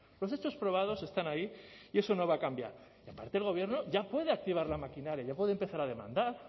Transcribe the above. los hechos probados están ahí y eso no va a cambiar y aparte el gobierno ya puede activar la maquinaria ya puede empezar a demandar